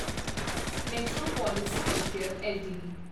metropolis Healthcare LTD